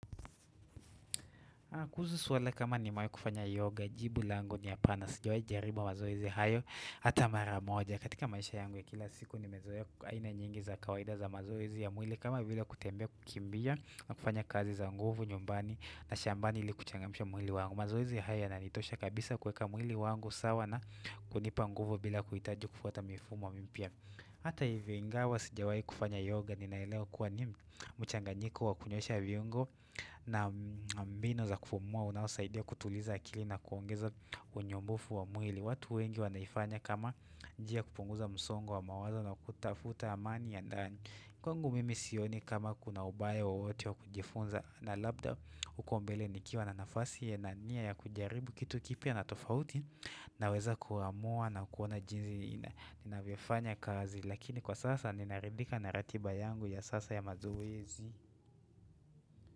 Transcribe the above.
Kuhusu suala kama nimewahi kufanya yoga, jibu langu ni hapana, sijawai jaribu mazoezi hayo, hata maramoja, katika maisha yangu ya kila siku ni mezoa aina nyingi za kawaida za mazoezi ya mwili kama vile kutembea kukimbia na kufanya kazi za nguvu nyumbani na shambani ili kuchangamsha mwili wangu. Na kunipa nguvu bila kuitaji kufuata mifumo mimpya Hata hivyo ingawa sijawai kufanya yoga ninaelewa kuwa niMchanganyiko wa kunyosha viungo na mbinu za kufumua Unaosaidia kutuliza akili na kuongeza unyumbufu wa mwili watu wengi wa naifanya kama njia kupunguza msongo wa mawazo na kutafuta amani ya ndani Kwangu mimi sioni kama kuna ubaya wowote wa kujifunza na labda Ukombele nikiwa na nafasi ya nania ya kujaribu kitu kipya na tofauti Naweza kuhamua na kuoana jinsi inanyofanya kazi lakini kwa sasa ninaridhika naratiba yangu ya sasa ya mazoezi.